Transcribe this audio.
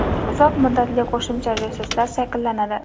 uzoq muddatli qo‘shimcha resurslar shakllanadi.